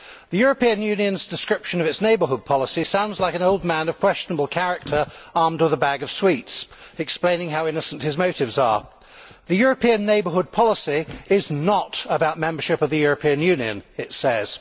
The European Union's description of its neighbourhood policy sounds like an old man of questionable character armed with a bag of sweets explaining how innocent his motives are. The European Neighbourhood policy is not about membership of the European Union, it says.